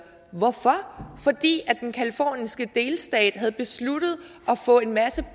hvorfor fordi den californiske delstat havde besluttet at få en masse